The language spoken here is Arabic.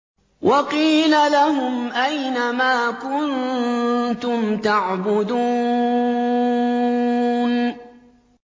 وَقِيلَ لَهُمْ أَيْنَ مَا كُنتُمْ تَعْبُدُونَ